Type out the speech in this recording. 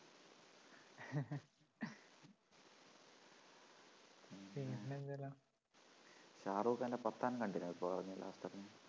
ഷാരൂഖ് ഖാൻ്റെ പത്താൻ കണ്ടിരുന്നോ ഇപ്പൊ ഇറങ്ങിയ last ഇറങ്ങിയ